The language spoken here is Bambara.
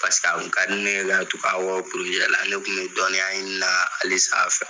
Paseke a kun ka di ne ye ka tugu a kɔ la ne kun be dɔnniya ɲini na, ale sanfɛ.